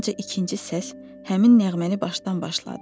Dalınca ikinci səs həmin nəğməni başdan başladı.